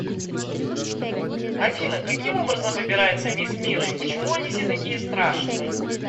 афина каким образом выбирается мисс мира и почему они все такие страшные